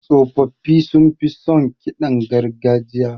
Tsofaffi sunfi son ƙidan gargajiya.